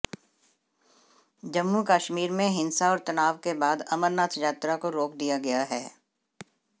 जम्मू कश्मीर में हिंसा और तनाव के बाद अमरनाथ यात्रा को रोक दिया गया है